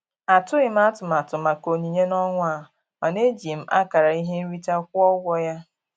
Atụghị m atụmatụ maka onyinye n'ọnwa a, mana eji m akara ihe nrite kwụọ ụgwọ ya.